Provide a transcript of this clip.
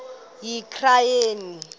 yitranskayi